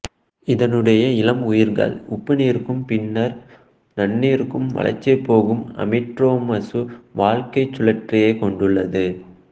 இதனுடைய இளம் உயிரிகள் உப்புநீருக்கும் பின்னர் நன்னீருக்கும் வலசைப்போகும் ஆம்பிட்ரோமசு வாழ்க்கைச் சுழற்சியைக் கொண்டுள்ளது